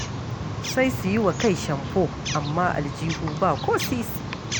Sai su yi wa kai shamfo, amma aljihu ba ko sisi.